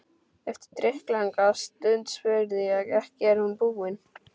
Eftir drykklanga stund spurði ég: Ekki er hún búin?